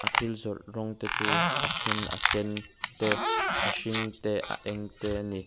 thil zawrh rawng te chu a then a sen te a hring te a eng te a ni.